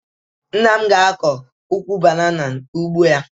Nna m ga-akọ ukwu banana n'ugbo ya